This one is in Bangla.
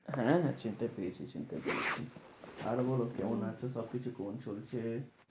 হ্যাঁ হ্যাঁ চিনতে পেরেছি চিনতে পেরেছি, আর বলো কেমন আছ? সব কিছু কেমন চলছে?